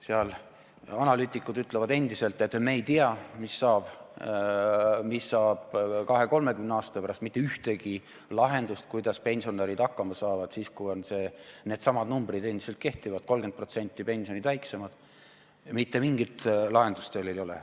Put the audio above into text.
Seal analüütikud ütlevad endiselt, et me ei tea, mis saab 20–30 aasta pärast, mitte ühtegi lahendust, kuidas pensionärid hakkama saavad, kui needsamad numbrid endiselt kehtivad ja 30% on pensionid väiksemad, veel ei ole.